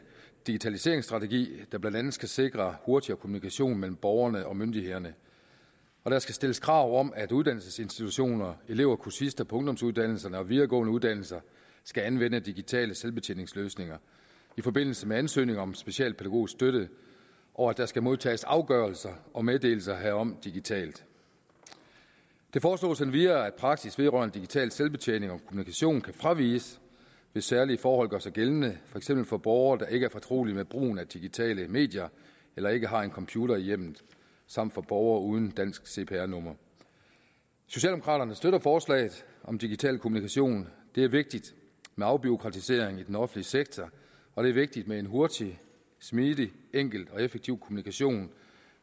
digitaliseringsstrategi der blandt andet skal sikre hurtigere kommunikation mellem borgerne og myndighederne og der skal stilles krav om at uddannelsesinstitutioner elever og kursister på ungdomsuddannelser og videregående uddannelser skal anvende digitale selvbetjeningsløsninger i forbindelse med ansøgninger om specialpædagogisk støtte og at der skal modtages afgørelser og meddelelser herom digitalt det foreslås endvidere at praksis vedrørende digital selvbetjening og kommunikation kan fraviges hvis særlige forhold gør sig gældende for eksempel for borgere der ikke er fortrolige med brugen af digitale medier eller ikke har en computer i hjemmet samt for borgere uden et dansk cpr nummer socialdemokraterne støtter forslaget om digital kommunikation det er vigtigt med afbureaukratisering i den offentlige sektor og det er vigtigt med en hurtig smidig enkel og effektiv kommunikation